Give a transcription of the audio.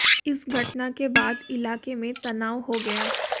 इस घटना के बाद इलाके में तनाव हो गया